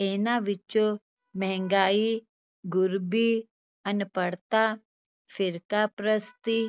ਇਹਨਾਂ ਵਿੱਚੋਂ ਮਹਿੰਗਾਈ, ਗ਼ਰੀਬੀ, ਅਨਪੜ੍ਹਤਾ, ਫਿਰਕਾਪ੍ਰਸਤੀ